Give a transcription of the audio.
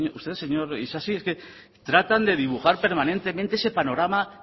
usted señor isasi trata de dibujar permanentemente ese panorama